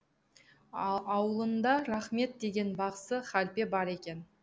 аулында рахмет деген бақсы халпе бар екен